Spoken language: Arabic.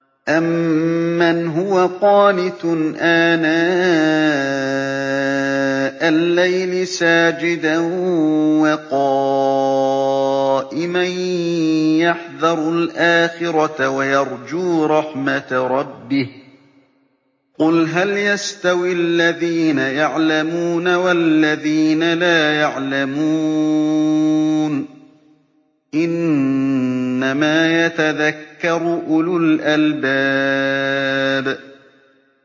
أَمَّنْ هُوَ قَانِتٌ آنَاءَ اللَّيْلِ سَاجِدًا وَقَائِمًا يَحْذَرُ الْآخِرَةَ وَيَرْجُو رَحْمَةَ رَبِّهِ ۗ قُلْ هَلْ يَسْتَوِي الَّذِينَ يَعْلَمُونَ وَالَّذِينَ لَا يَعْلَمُونَ ۗ إِنَّمَا يَتَذَكَّرُ أُولُو الْأَلْبَابِ